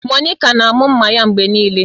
Monica na-amụ mma ya mgbe niile.